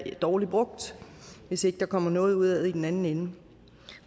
dårligt brugt hvis ikke der kommer noget ud af det i den anden ende